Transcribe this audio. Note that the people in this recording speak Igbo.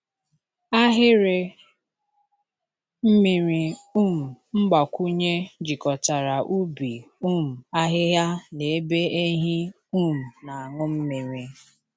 Ahịrị mmiri um mgbakwunye jikọtara ubi um ahịhịa na ebe ehi um na-aṅụ mmiri.